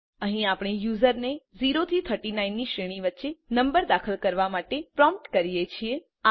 અહીં આપણે યુઝરને 0 થી 39 ની શ્રેણી વચ્ચે નંબર દાખલ કરવા માટે પ્રોમ્પ્ટ કરીએ છીએ